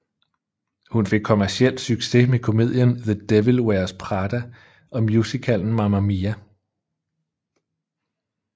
Hun fik kommerciel succes med komedien The Devil Wears Prada og musicalen Mamma Mia